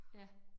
Ja